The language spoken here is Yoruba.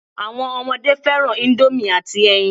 Àwọn ọmọdé fẹ́ràn ìndòmí àti ẹyin